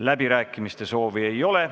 Läbirääkimiste soovi ei ole.